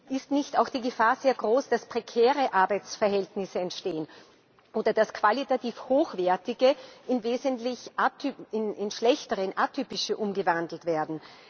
Ist nicht auch die Gefahr sehr groß, dass prekäre Arbeitsverhältnisse entstehen oder dass qualitativ hochwertige in wesentlich schlechtere, atypische umgewandelt werden?